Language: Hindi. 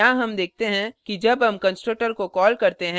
अतः यहाँ हम देखते हैं कि जब हम constructor को कॉल करते हैं